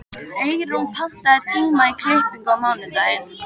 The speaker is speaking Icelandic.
Eyrún, pantaðu tíma í klippingu á mánudaginn.